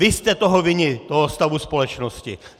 Vy jste toho vinni, toho stavu společnosti!